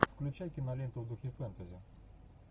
включай киноленту в духе фэнтези